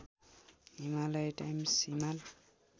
Himalaya Times Himal